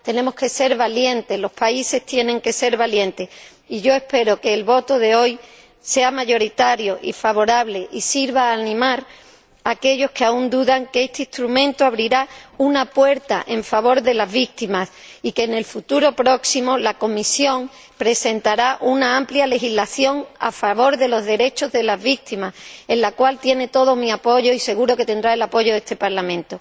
Tenemos que ser valientes, los países tienen que ser valientes, y yo espero que el voto de hoy sea mayoritario y favorable y sirva para animar a aquellos que aún dudan de que este instrumento abrirá una puerta en favor de las víctimas y que en un futuro próximo la Comisión presentará una amplia legislación a favor de los derechos de las víctimas, para la cual tiene todo mi apoyo y seguro que tendrá el apoyo de este Parlamento.